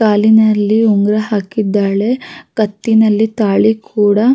''ಕಾಲಿನಲ್ಲಿ ಉಂಗುರ ಹಾಕಿದ್ದಾಳೆ ಕತ್ತಿನಲ್ಲಿ ತಾಳಿ''''ಕೂಡ-''